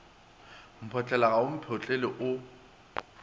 mphotlela ga o mphetole o